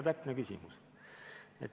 Väga täpne küsimus!